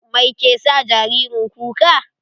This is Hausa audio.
Mai ke sa jaririn kuka?